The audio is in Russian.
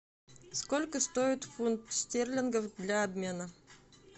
сколько стоит фунт стерлингов для обмена